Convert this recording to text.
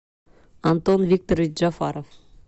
антон викторович джафаров